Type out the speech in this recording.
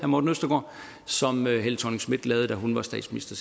morten østergaard som helle thorning schmidt gjorde da hun var statsminister